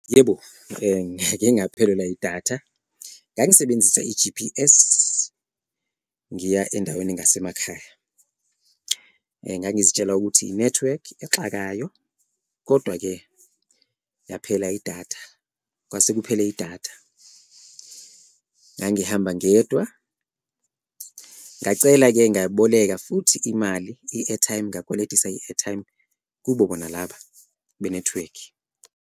Yebo, ngake ngaphelelwa idatha ngangisebenzisa i-G_P_S ngiya endaweni engasemakhaya, ngangizitshela ukuthi inethiwekhi exakayo kodwa-ke yaphela idatha, kwasekuphele idatha. Ngangihamba ngedwa, ngacela-ke ngayiboleka futhi imali i-airtime, ngakweletisa i-airtime kubo bona laba benethiwekhi.